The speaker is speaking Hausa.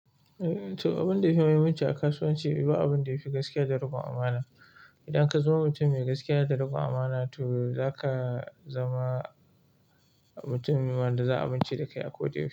Eh to abin da yafi aminci a kasuwanci ba abin da yafi gaskiya da riƙon amana. Idan ka zama mutum mai gaskiya da riƙon amana to zaka zama mutum da za a amince da kai a ko da yaushe.